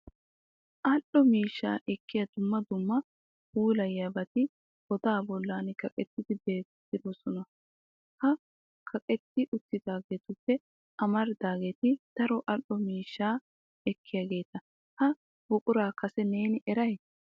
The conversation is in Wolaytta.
Al"o miishsha ekkiya dumma dumma puulayiyoobati goda bollan kaqettidi beetroosona. Ha kaqetti uttidaageetuppe amaridaageeti daro al"o miishsha ekkiyaageeta. Ha buqura kase ne eray?